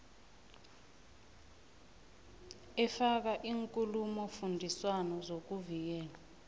efaka iinkulumofundiswano zokuvikela